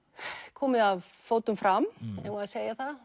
komið að fótum fram eigum við að segja það